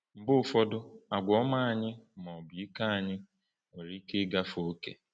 Mgbe ụfọdụ àgwà ọma anyị, ma ọ bụ ike anyị, nwere ike ịgafe ókè.